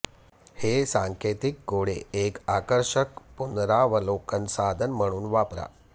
हे सांकेतिक कोडे एक आकर्षक पुनरावलोकन साधन म्हणून वापरा